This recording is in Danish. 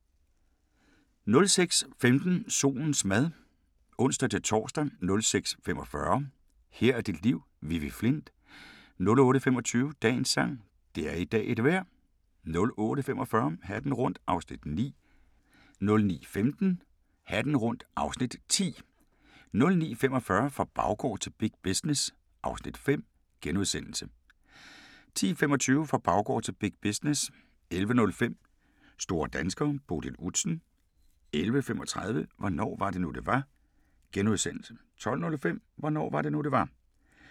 06:15: Solens mad (ons-tor) 06:45: Her er dit liv – Vivi Flindt 08:25: Dagens sang: Det er i dag et vejr 08:45: Hatten rundt (Afs. 9) 09:15: Hatten rundt (Afs. 10) 09:45: Fra baggård til big business (Afs. 5)* 10:25: Fra baggård til big business 11:05: Store danskere: Bodil Udsen 11:35: Hvornår var det nu det var? * 12:05: Hvornår var det nu det var?